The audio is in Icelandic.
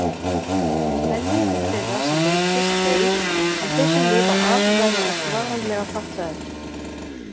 Helmingur þeirra sem veikist deyr en þeir sem lifa af verða oft varanlega fatlaðir.